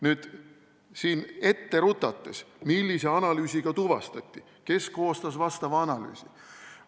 Nüüd, ette rutates: millise analüüsiga kallutatus tuvastati, kes koostas analüüsi?